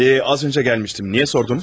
Yox, az öncə gəlmişdim, niyə sordunuz?